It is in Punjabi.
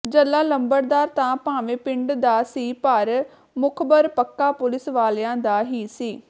ਜੱਲ੍ਹਾ ਲੰਬੜਦਾਰ ਤਾਂ ਭਾਵੇਂ ਪਿੰਡ ਦਾ ਸੀ ਪਰ ਮੁਖਬਰ ਪੱਕਾ ਪੁਲਿਸ ਵਾਲਿਆਂ ਦਾ ਹੀ ਸੀ